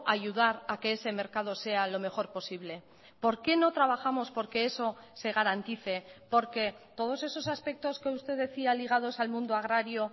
ayudar a que ese mercado sea lo mejor posible por qué no trabajamos por que eso se garantice porque todos esos aspectos que usted decía ligados al mundo agrario